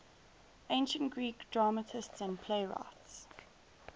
ancient greek dramatists and playwrights